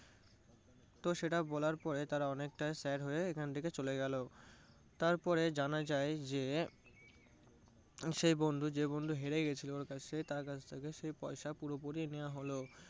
তো সেটা বলার পরে তারা অনেকটাই sad হয়ে এখান থেকে চলে গেলো। তারপরে জানা যায় যে সেই বন্ধু যে বন্ধু হেরে গেছিলো সে তার কাছ থেকে সেই পয়সা পুরোপুরি নেওয়া হলো।